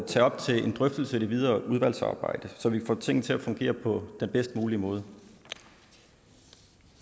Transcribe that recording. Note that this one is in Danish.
tage op til en drøftelse i det videre udvalgsarbejde så vi kan få tingene til at fungere på den bedst mulige måde